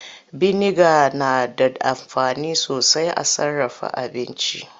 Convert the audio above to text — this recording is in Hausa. Biniga na da amfani sosai a sarraf aabinci.